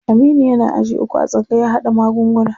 Aminu yana aji uku a tsangayar haɗa magunguna.